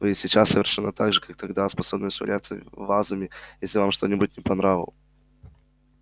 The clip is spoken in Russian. вы и сейчас совершенно так же как тогда способны швыряться вазами если вам что-нибудь не по нраву